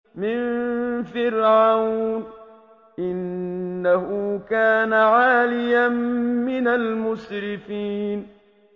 مِن فِرْعَوْنَ ۚ إِنَّهُ كَانَ عَالِيًا مِّنَ الْمُسْرِفِينَ